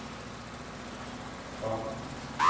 Kvam